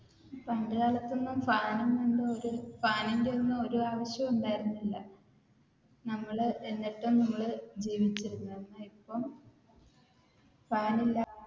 പണ്ടുകാലത്തൊന്നുംഫാൻ ഒന്നും ഫാനിന്റെ ഒന്നും ഒരു ആവശ്യം ഉണ്ടായിരുന്നില്ല നമ്മൾ എന്നിട്ടും നമ്മൾ ജീവിച്ചിരുന്നു പക്ഷേ ഇപ്പം ഫാനില്ലാതെ